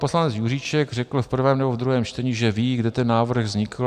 Poslanec Juříček řekl v prvém nebo v druhém čtení, že ví, kde ten návrh vznikl.